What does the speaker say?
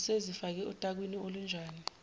usezifake otakwini olunjani